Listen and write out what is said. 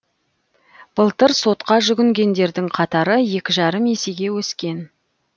былтыр сотқа жүгінгендердің қатары екі жарым есеге өскен